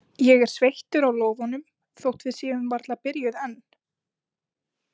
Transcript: Ég er sveittur á lófunum, þótt við séum varla byrjuð enn.